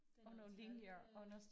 Det er noget tal øh